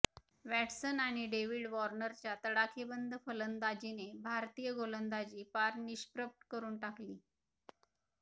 Watson आणि David वॉर्नरच्या तडाखेबंद फलंदाजीने भारतीय गोलंदाजी पार निष्प्रभ करुन टाकली